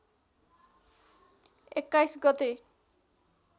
२१ गते